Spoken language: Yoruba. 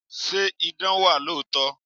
Ṣé idán wà lóòótọ́?